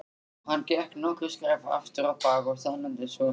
Hann gekk nokkur skref afturábak og staðnæmdist svo.